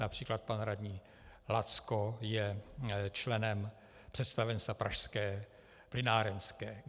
Například pan radní Lacko je členem představenstva Pražské plynárenské.